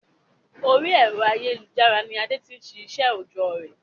Orí ẹ̀rọ ayélujára ni Adé tí n se iṣẹ òojọ́ rẹ̀